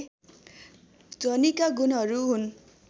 ध्वनिका गुणहरू हुन्